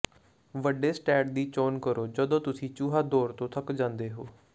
ਵੱਡੇ ਸਟੈਟ ਦੀ ਚੋਣ ਕਰੋ ਜਦੋਂ ਤੁਸੀਂ ਚੂਹਾ ਦੌੜ ਤੋਂ ਥੱਕ ਜਾਂਦੇ ਹੋ